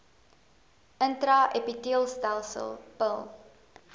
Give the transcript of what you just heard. intra epiteelletsel pil